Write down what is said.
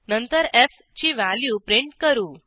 नंतर fची value print करू